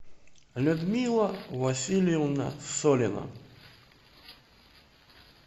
людмила васильевна солина